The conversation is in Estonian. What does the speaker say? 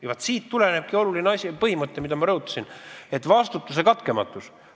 Vaat siit tulenebki oluline põhimõte, mida ma rõhutasin: vastutuse katkematus.